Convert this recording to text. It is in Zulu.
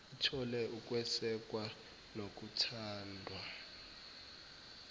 ithole ukwesekwa nokuthandwa